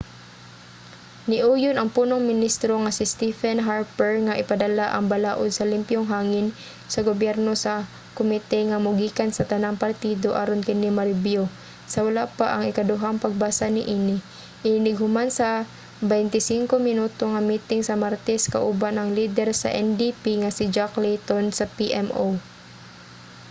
niuyon ang punong ministro nga si stephen harper nga ipadala ang 'balaud sa limpyong hangin sa gobyerno sa komite nga mogikan sa tanang partido aron kini marebyu sa wala pa ang ikaduhang pagbasa niini inig human sa 25 minuto nga miting sa martes kauban ang lider sa ndp nga si jack layton sa pmo